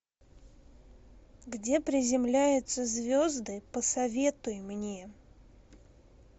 где приземляются звезды посоветуй мне